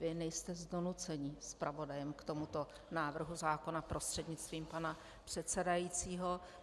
Vy nejste z donucení zpravodajem k tomuto návrhu zákona, prostřednictvím pana předsedajícího.